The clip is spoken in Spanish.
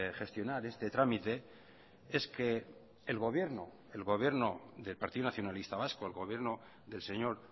gestionar este trámite es que el gobierno el gobierno del partido nacionalista vasco el gobierno del señor